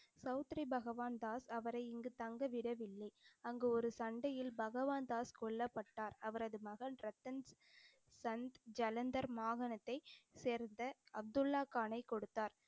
சௌத்ரி பகவான்தாஸ் அவரை இங்குத் தங்க விடவில்லை. அங்கு ஒரு சண்டையில் பகவான்தாஸ் கொல்லப்பட்டார். அவரது மகள் ரத்தன் சந்த் ஜலந்தர் மாகாணத்தைச் சேர்ந்த அப்துல்லா கானை கொடுத்தார்.